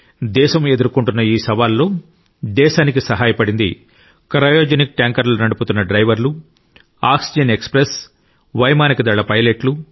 దేశం ఎదుర్కొంటున్న ఈ సవాలులో దేశానికి సహాయపడింది క్రయోజెనిక్ ట్యాంకర్ నడుపుతున్న డ్రైవర్లు ఆక్సిజన్ ఎక్స్ప్రెస్ వైమానిక దళ పైలట్లు